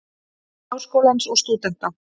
Háskólans og stúdenta.